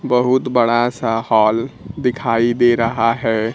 बहुत बड़ा सा हॉल दिखाई दे रहा है।